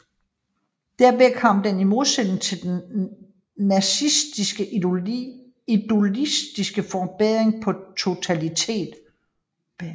Derved kom den i modsætning til den nazistiske ideologis fordring på totalitet